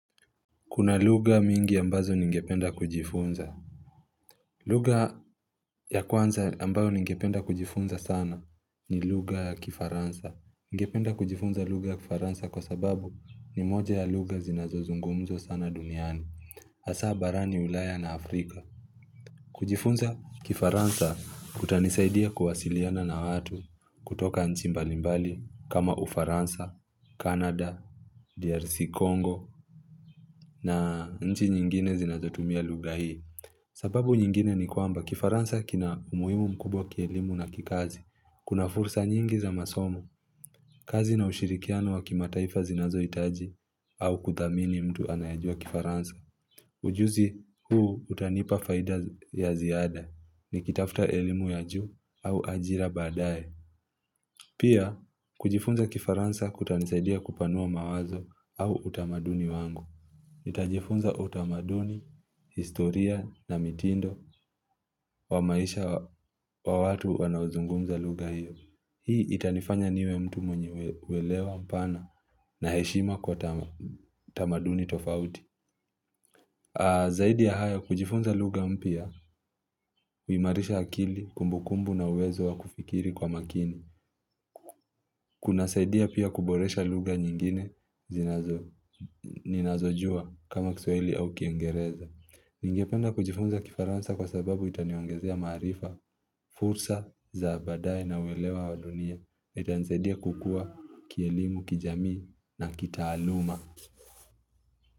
Kuna lugha mingi ambazo ningependa kujifunza lugha ya kwanza ambayo ningependa kujifunza sana ni lugah ya kifaransa Ngependa kujifunza lugha ya kifaransa kwa sababu ni moja ya lugha zinazo zungumzo sana duniani hasa barani ulaya na Afrika kujifunza kifaransa kutanisaidia kuwasiliana na watu kutoka nchi mbalimbali kama ufaransa, Canada, DRC, Congo na nchi nyingine zinazotumia lugha hii sababu nyingine ni kwamba kifaransa kina umuhimu mkubwa kielimu na kikazi Kuna fursa nyingi za masomo kazi na ushirikiano wa kima taifa zinazohitaji au kuthamini mtu anayajua kifaransa ujuzi huu utanipa faida ya ziada Nikitafta elimu ya juu au ajira baadaye Pia kujifunza kifaransa kutanisaidia kupanua mawazo au utamaduni wangu Itajifunza utamaduni, historia na mitindo wa maisha wa watu wanauzungumza lugha hiyo Hii itanifanya niwe mtu mwenye welewa mpana na heshima kwa utamaduni tofauti Zaidi ya haya kujifunza lugha mpya, huimarisha akili kumbukumbu na uwezo wa kufikiri kwa makini Kuna saidia pia kuboresha lugha nyingine zinazojua kama kiswahili au kingereza Ningependa kujifunza kifaransa kwa sababu itaniongezea maarifa, fursa, zabaadaye na welewa wadunia. Itanizaidia kukua, kielimu, kijamii na kitaaluma.